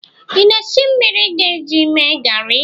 ị na-esi mmiri ị ga-eji mee garị